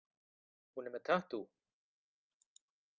Hún er með tattú.